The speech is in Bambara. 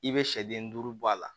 I bɛ sɛden duuru bɔ a la